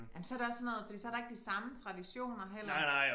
Men så det også sådan noget fordi så der ikke de samme traditioner heller